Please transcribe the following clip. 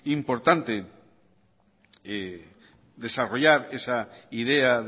importante desarrollar esa idea